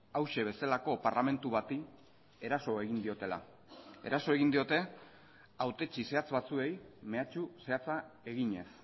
hauxe bezalako parlamentu bati eraso egin diotela eraso egin diote hautetsi zehatz batzuei mehatxu zehatza eginez